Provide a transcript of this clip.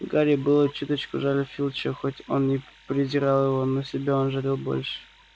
гарри было чуточку жаль филча хоть он и презирал его но себя он жалел больше